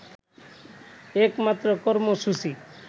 একমাত্র কর্মসূচি